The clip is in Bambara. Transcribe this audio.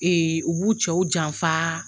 u b'u cɛw janfa